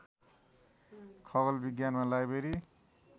खगोल विज्ञानमा लाइब्रेरी